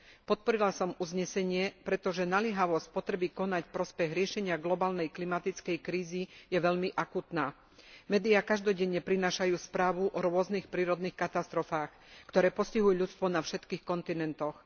Podporila som uznesenie, pretože naliehavosť potreby konať v prospech riešenia globálnej klimatickej krízy je veľmi akútna. Médiá každodenne prinášajú správy o rôznych prírodných katastrofách, ktoré postihujú ľudstvo na všetkých kontinentoch.